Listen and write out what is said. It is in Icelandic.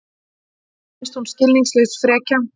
Finnst hún skilningslaus frekja.